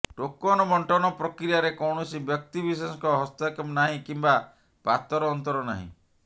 token ବଣ୍ଟନ ପ୍ରକ୍ରିୟାରେ କୌଣସି ବ୍ୟକ୍ତିବିଶେଷଙ୍କ ହସ୍ତକ୍ଷେପ ନାହିଁ କିମ୍ବା ପାତରଅନ୍ତର ନାହିଁ